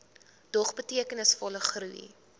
dog betekenisvolle groei